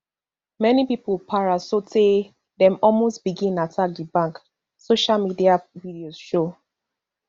many pipo para sotay dem almost begin attack di bank social media videos show